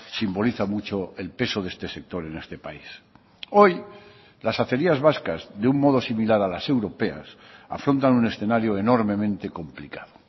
simboliza mucho el peso de este sector en este país hoy las acerías vascas de un modo similar a las europeas afrontan un escenario enormemente complicado